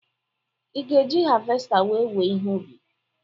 Ị ga-eji havesta wéé wèè ihe ubi?